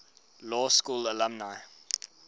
law school alumni